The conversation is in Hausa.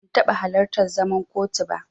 Ban taɓa halartar zaman kotu ba.